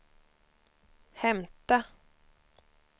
hämta